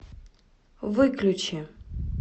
выключи